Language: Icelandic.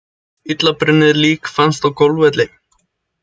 Illa brunnið lík fannst á golfvelli